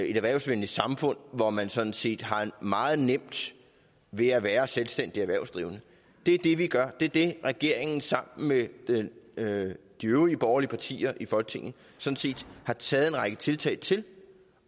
et erhvervsvenligt samfund hvor man sådan set har meget nemt ved at være selvstændigt erhvervsdrivende det er det regeringen sammen med med de øvrige borgerlige partier i folketinget har taget en række tiltag til